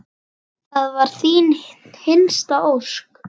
Það var þín hinsta ósk.